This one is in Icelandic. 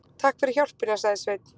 Takk fyrir hjálpina, sagði Sveinn.